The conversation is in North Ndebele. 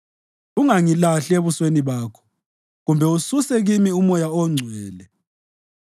Ungangilahli ebusweni bakho kumbe ususe kimi uMoya oNgcwele.